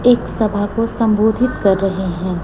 एक सभा को संबोधित कर रहे हैं।